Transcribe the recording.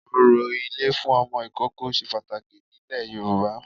Orò ilé fún Ọmọ ìkókó se pàtàkì nílẹ̀ Yorùbá